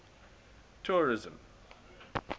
tourism